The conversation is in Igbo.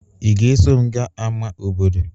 Ị ga-eso m gaa ámá obodo?